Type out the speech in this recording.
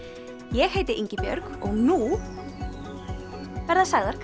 ég heiti Ingibjörg og nú verða sagðar